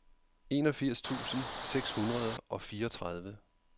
enogfirs tusind seks hundrede og fireogtredive